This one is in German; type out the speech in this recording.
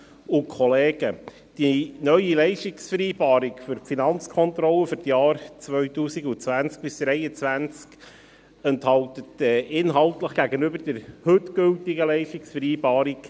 Die neue Leistungsvereinbarung für die Finanzkontrolle für die Jahre 2020–2023 enthält inhaltlich keine Änderungen gegenüber der heute gültigen Leistungsvereinbarung.